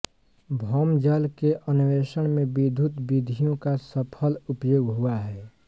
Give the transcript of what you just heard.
भौम जल के अन्वेषण में वैद्युत विधियों का सफल उपयोग हुआ है